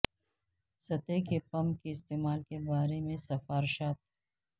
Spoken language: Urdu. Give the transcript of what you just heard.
سطح کے پمپ کے استعمال کے بارے میں سفارشات